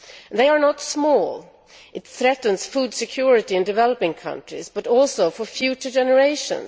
They are not small. It threatens food security in developing countries, but also for future generations.